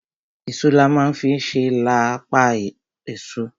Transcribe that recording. Èso la ma fi ń ṣe à la pọ èso.